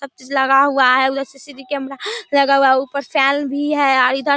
सब चीज लगा हुआ है उधर सी.सी.टी.वी. कैमरा लगा हुआ है ऊपर फैन भी है और इधर --